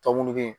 Tɔ munnu bɛ yen